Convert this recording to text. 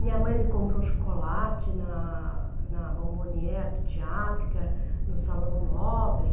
Minha mãe me comprou chocolate na na bomboniere do teatro, que era no Salão Nobre.